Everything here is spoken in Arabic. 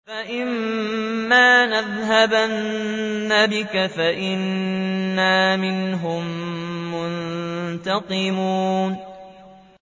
فَإِمَّا نَذْهَبَنَّ بِكَ فَإِنَّا مِنْهُم مُّنتَقِمُونَ